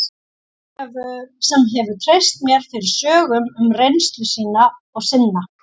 Fólki sem hefur treyst mér fyrir sögum um reynslu sína og sinna.